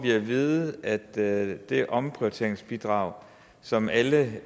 vide at det det omprioriteringsbidrag som alle